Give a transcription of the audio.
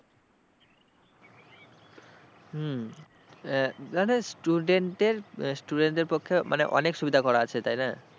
হম মানে student দের student এর পক্ষে মানে অনেক সুবিধা করা আছে তাই না?